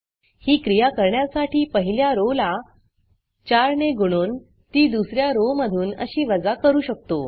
ही क्रिया करण्यासाठी पहिल्या rowरो ला 4 ने गुणून ती दुस या rowरो मधून अशी वजा करू शकतो